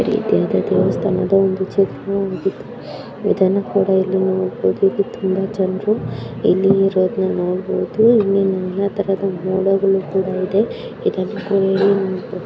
ಈ ಇದು ದೇವಸ್ಥಾನದ ಒಂದು ಚಿತ್ರವಾಗಿದೆ ಇದನ್ನು ಕೂಡ ಇಲ್ಲಿ ನೋಡಬಹುದು ಇಲ್ಲಿ ತುಂಬಾ ಜನರು ಇಲ್ಲಿ ಇರೋದನ್ನ ನೋಡಬಹುದು ಇಲ್ಲಿ ಎಲ್ಲಾ ತರದ ಮೋಡಗಳು ಕೂಡ ಇದೆ .